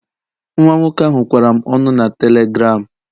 Nwa nwoke ahụ kwara m ọnụ na telegram